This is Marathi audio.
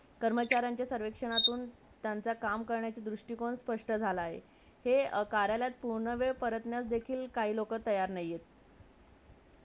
स्थानपण न होण्याचा आणि निर्णयाचा राजकीय मंडळींना मोठया मनानी निर्णय राजकारणीय मंडळींना घेतला जातो एक नवीन पायंडावं मन बादशहा संमेलनातून सुरु होत आहे